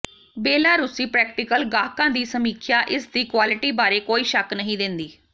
ਬੇਲਾਰੂਸੀ practical ਗਾਹਕਾਂ ਦੀ ਸਮੀਖਿਆ ਇਸਦੀ ਕੁਆਲਿਟੀ ਬਾਰੇ ਕੋਈ ਸ਼ੱਕ ਨਹੀਂ ਦਿੰਦੀ